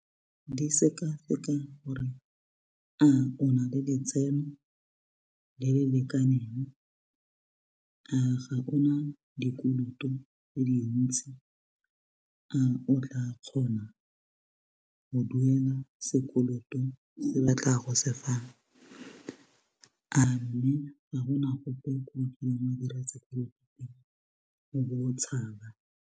Di sekaseka gore a o na le letseno le le lekaneng a ga ona dikoloto tse dintsi a otla kgona go duela sekoloto ba tla go se fang a mme ga gona gope ko o kileng wa dira sekoloto teng o bo tshaba.